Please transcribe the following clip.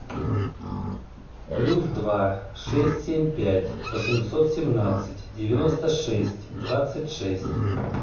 плюс два шесть семь пять восемьсот семнадцать девяносто шесть двадцать шесть